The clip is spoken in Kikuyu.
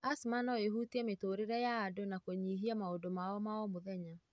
Asthma noĩhutie mĩtũrĩre ya andũ na kũnyihia maũndũ mao maomũthenya.